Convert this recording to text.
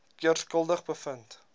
keer skuldig bevind